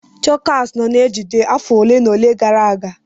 Chokas nọ na ejiji afọ ole na ole gara aga.